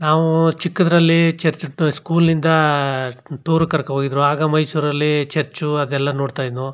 ನಾವು ಚಿಕ್ಕದ್ರಲ್ಲಿ church to school ಇಂದ ಟೂರ್ ಗೆ ಕರಕೊಂಡ್ ಹೋಗಿದ್ರು ಆಗ ಮೈಸೂರಲ್ಲಿ ಚರ್ಚು ಅದೆಲ್ಲಾ ನೋಡತ್ತಾ ಇದ್ದವು.